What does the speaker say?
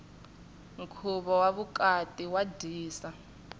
nkhuvo wa vukati wa dyisa